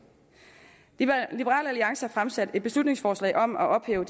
liberal alliance har fremsat et beslutningsforslag om at ophæve